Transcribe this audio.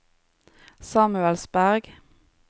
Samuelsberg